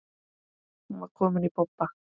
Hún var komin í bobba.